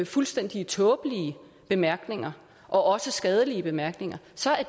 fuldstændig tåbelige bemærkninger og også skadelige bemærkninger